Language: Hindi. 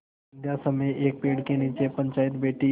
संध्या समय एक पेड़ के नीचे पंचायत बैठी